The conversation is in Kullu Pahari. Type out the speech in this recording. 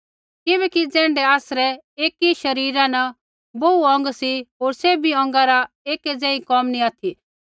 किबैकि ज़ैण्ढै आसरै एकी शरीरा न बोहू अौंग सी होर सैभी अौंगा रा एक ज़ेही कोम नी ऑथि